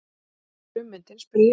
Þó ekki frummyndin? spurði ég.